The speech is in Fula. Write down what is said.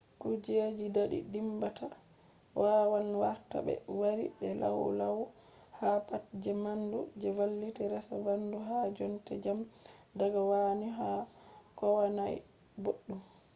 kujeji dadi dimbata wawan warta be yarbi be lau lau ha pat je bandu je valliti resa bandu ha jonde jam daga kowani kohanai boddum